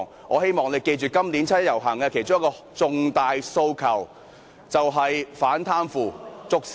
我希望大家記住今年七一遊行的其中一個重大訴求，就是"反貪腐，捉 CY"。